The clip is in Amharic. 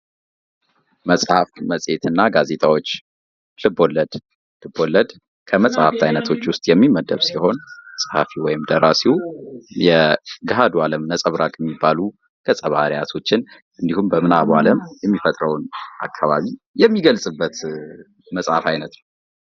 መጽሐፍ መጽሄትና ጋዜጣዎች ልቦለድ ልቦለድ ተሻለች ከመሀፍ አይነቶች ውስጥ የሚመደብ ሲሆን ፀሐፊው ወይም ደራሲው የገሃዱን ዓለም ነጸብራቅ የሚባሉ ገጸ ባህርያትን እንዲሁም በምናቡ ዓለም የሚፈጥረውን አካባቢ የሚገልጽበት የመጽሐፍ አይነት ነው።